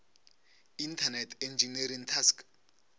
internet engineering task